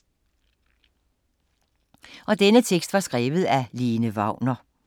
Af Lene Wagner